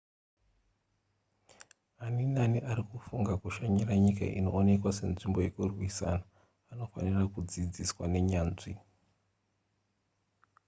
ani naani ari kufunga kushanya kunyika inoonekwa senzvimbo yekurwisana anofanira kudzidziswa nenyanzvi